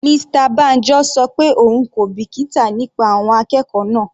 Mr Banjo ṣọ pé òun kò bìkítà nípa àwọn akẹ́kọ̀ọ́ náà.